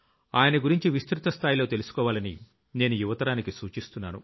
ఆయన గురించి విస్తృత స్థాయిలో తెలుసుకోవాలని నేను యువతరానికి సూచిస్తున్నాను